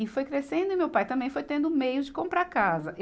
E foi crescendo e meu pai também foi tendo meios de comprar casa.